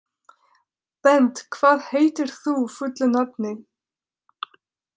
Bent, hvað heitir þú fullu nafni?